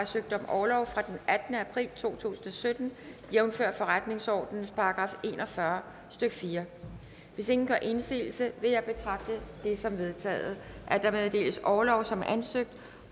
søgt om orlov fra den attende april to tusind og sytten jævnfør forretningsordenens § en og fyrre stykke fjerde hvis ingen gør indsigelse vil jeg betragte det som vedtaget at der meddeles orlov som ansøgt